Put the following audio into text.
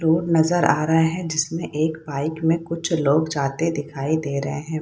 Road नजर आ रहा हैं जिसमें एक बाइक में कुछ लोग जाते दिखाई दे रहे हैं।